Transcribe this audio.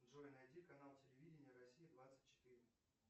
джой найди канал телевидения россия двадцать четыре